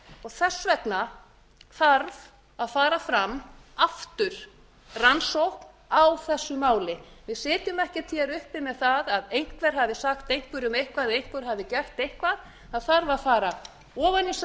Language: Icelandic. þess vegna þarf að fara fram aftur rannsókn á þessu máli við sitjum ekki uppi með það að einhver hafi sagt einhverjum eitthvað eða einhver hafi gert eitthvað það þarf að fara ofan í saumana á